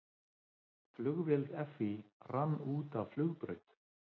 Flugvél FÍ rann út af flugbraut